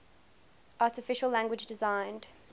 artificial language designed